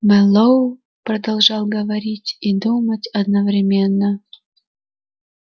мэллоу продолжал говорить и думать одновременно